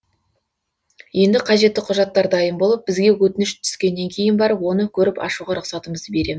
енді қажетті құжаттар дайын болып бізге өтініш түскеннен кейін барып оны көріп ашуға рұқсатымызды берем